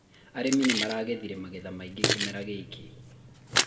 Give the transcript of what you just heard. arĩmi nĩmarangethĩre magetha maingĩ kĩmera gĩkĩ